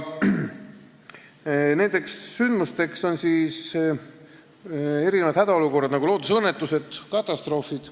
Sellisteks sündmusteks on hädaolukorrad, nagu loodusõnnetused, katastroofid.